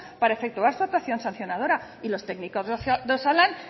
para efectuar su actuación sancionadora y los técnicos de osalan